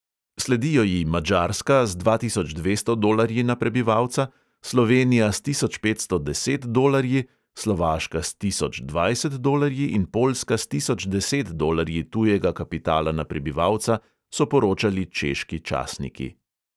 Sledijo ji madžarska z dva tisoč dvesto dolarji na prebivalca, slovenija s tisoč petsto deset dolarji, slovaška s tisoč dvajset dolarji in poljska s tisoč deset dolarji tujega kapitala na prebivalca, so poročali češki časniki.